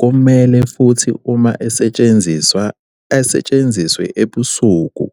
kumele futhi uma esetshenziswa asetshenziswe ebusuku.